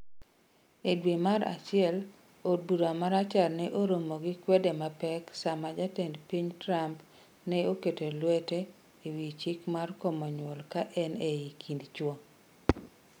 E dwe mar achiel, od bura ma rachar ne oromo gi kwede mapek sama Jatend piny Trump ne oketo lwete ewi chik mar komo nyuol ka en ei kind chwo.